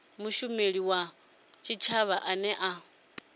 mushumeli wa tshitshavha ane a